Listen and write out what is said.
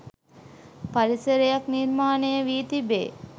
පරිසරයක් නිර්මාණය වී තිබේ.